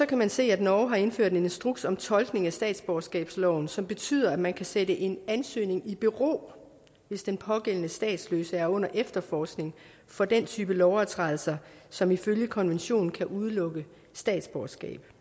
kan man se at norge har indført en instruks om tolkning af statsborgerskabsloven som betyder at man kan sætte en ansøgning i bero hvis den pågældende statsløse er under efterforskning for den type lovovertrædelser som ifølge konventionen kan udelukke statsborgerskab